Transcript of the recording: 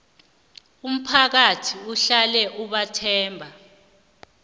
umphakathi uhlale ubathemba